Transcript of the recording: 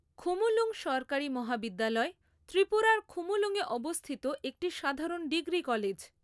খুমুলুঙ সরকারি মহাবিদ্যালয় ত্রিপুরার খুমুলুঙয়ে অবস্থিত একটি সাধারণ ডিগ্রি কলেজ।